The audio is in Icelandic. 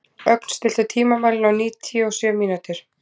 Ögn, stilltu tímamælinn á níutíu og sjö mínútur.